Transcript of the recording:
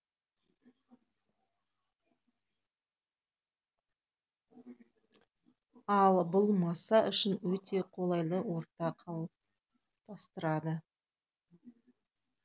ал бұл маса үшін өте қолайлы орта қалыптастырады